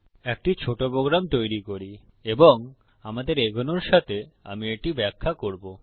একটি ছোট প্রোগ্রাম তৈরী করি এবং আমাদের এগোনোর সাথে এটি ব্যাখ্যা করব